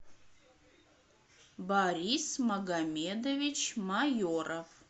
борис магомедович майоров